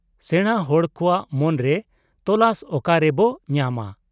ᱥᱮᱬᱟ ᱦᱚᱲ ᱠᱚᱣᱟᱜ ᱢᱚᱱᱨᱮ ᱛᱚᱞᱟᱥ ᱚᱠᱟᱨᱮ ᱵᱚ ᱧᱟᱢᱟ ?